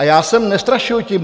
A já jsem nestrašil tím...